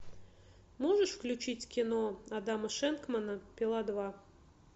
можешь включить кино адама шенкмана пила два